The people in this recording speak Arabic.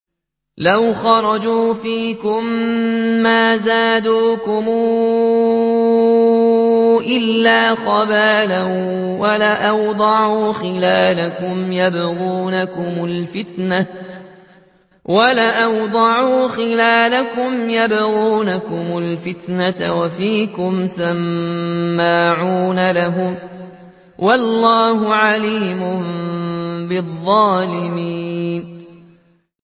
لَوْ خَرَجُوا فِيكُم مَّا زَادُوكُمْ إِلَّا خَبَالًا وَلَأَوْضَعُوا خِلَالَكُمْ يَبْغُونَكُمُ الْفِتْنَةَ وَفِيكُمْ سَمَّاعُونَ لَهُمْ ۗ وَاللَّهُ عَلِيمٌ بِالظَّالِمِينَ